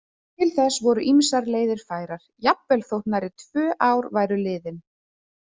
Til þess voru ýmsar leiðir færar, jafnvel þótt nærri tvö ár væru liðin.